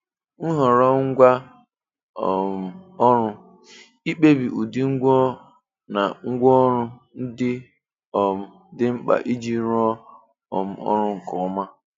Nhọrọ́ Ngwá um Ọrụ̀ – Ikpèbí ụ́dị́ ngwá na ngwaọrụ̀ ndị um dị́ mkpà ijì rụọ̀ um ọrụ̀ nke ọmà.